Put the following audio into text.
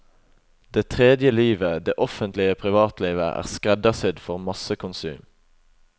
Det tredje livet, det offentlige privatlivet, er skreddersydd for massekonsum.